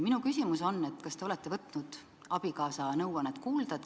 Kas te olete võtnud abikaasa nõuannet kuulda?